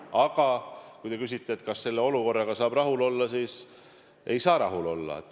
Aga kui te küsite, kas selle olukorraga saab rahul olla, siis ei saa rahul olla.